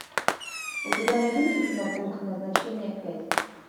у тебя найдется кино пункт назначения пять